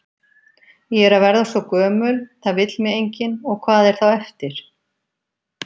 Ég er að verða svo gömul, það vill mig enginn, og hvað er þá eftir?